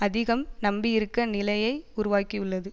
அதிகம் நம்பியிருக்க நிலையை உருவாகியுள்ளது